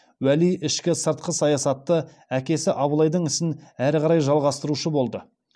уәли ішкі сыртқы саясатта әкесі абылайдың ісін әрі қарай жалғастырушы болды